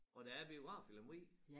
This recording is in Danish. Og der er biograf i Lemvig?